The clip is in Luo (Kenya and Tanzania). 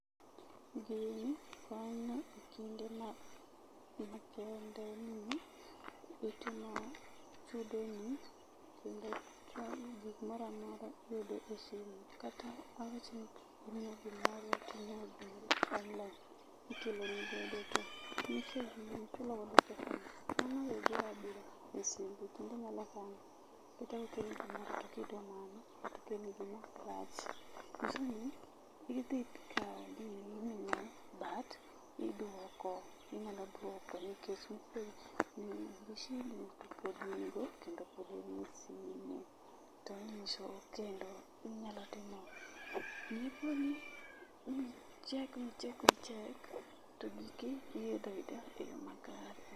Not audible